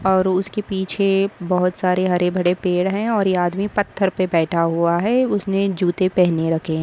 और उसके पीछे बहुत सारे हरे भरे पेड़ है और ये आदमी पत्थर पे बैठा हुआ है उसने जूते पहने रखे है।